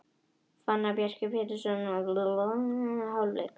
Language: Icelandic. Fannar Bjarki Pétursson skoraði fyrsta mark leiksins í fyrri hálfleik.